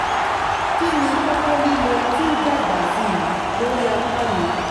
Kí ni kókó líle tí ń dàgbà sí i yìí lórí apá mi?